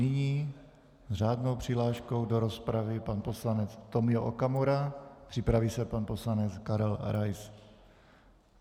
Nyní s řádnou přihláškou do rozpravy pan poslanec Tomio Okamura, připraví se pan poslanec Karel Rais.